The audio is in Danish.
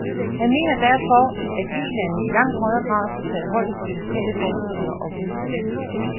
Han mener derfor, at Ilandene i langt højere grad skal tage højde for de lokale forestillinger om udvikling.